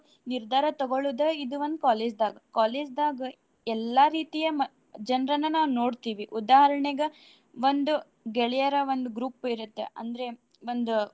ನಿರ್ದಾರ ತಗೊಳುದ ಇದು ಒಂದ್ college ದಾಗ. College ದಾಗ ಎಲ್ಲಾ ರೀತಿಯ ಮ~ ಜನ್ರನ್ನ ನಾವ್ ನೋಡ್ತೀವಿ. ಉದಾಹರ್ಣೆಗ ಒಂದು ಗೆಳೆಯರ ಒಂದು group ಇರುತ್ತೆ ಅಂದ್ರೆ ಒಂದು.